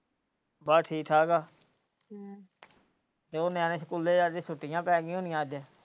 ਬਸ ਠੀਕ ਠਾਕ ਹੈ ਤੇ ਉਹ ਨਿਆਣੇ ਸਕੂਲੇ ਜਾਂਦੇ ਛੁੱਟੀਆਂ ਪੈ ਗਈਆਂ ਹੋਣੀਆਂ ਅੱਜ।